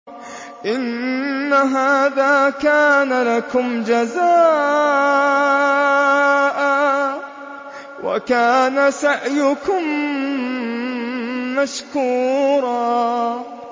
إِنَّ هَٰذَا كَانَ لَكُمْ جَزَاءً وَكَانَ سَعْيُكُم مَّشْكُورًا